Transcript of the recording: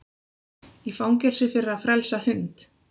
Í fangelsi fyrir að frelsa hund